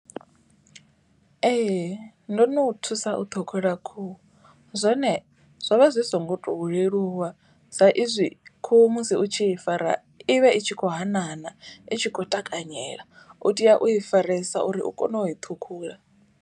Ee ndo no thusa u ṱhukhula khuhu. Zwone zwo vha zwi so ngo to leluwa sa izwi khuhu musi u tshi i fara ivhe i tshi kho hana hana i tshi kho takanyela. U tea u i faresa uri u kone u i ṱhukhula.